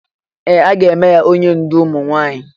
Ee! A ga-eme ya onye ndú ụmụ nwaanyị.